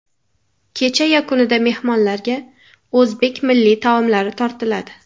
Kecha yakunida mehmonlarga o‘zbek milliy taomlari tortiladi.